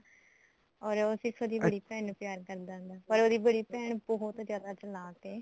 or ਉਹ ਸਿਰਫ਼ ਉਹਦੀ ਬੜੀ ਭੈਣ ਨੂੰ ਪਿਆਰ ਕਰਦਾ ਪਰ ਉਹਦੀ ਬੜੀ ਭੈਣ ਬਹੁਤ ਜਿਆਦਾ ਚਲਾਕ ਐ